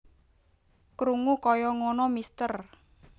Krungu kaya ngono Mr